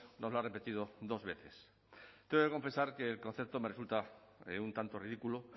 nos lo ha repetido dos veces tengo que confesar que el concepto me resulta un tanto ridículo